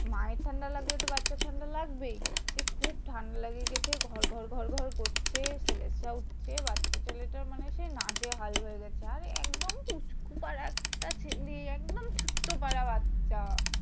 মায়ের ঠান্ডা লাগলে তো বাচ্চার ঠান্ডা লাগবেই। যে খুব ঠান্ডা লেগেগেছে ঘর ঘর ঘর ঘর করছে। ছেলেটা উঠছে বাচ্চাটা ছেলেটা মানে সেই নাজেহাল হয়ে গেছে। আর একদম পুচকু পারা একটা ছেলে। একদম ছোট্ট পারা বাচ্চা।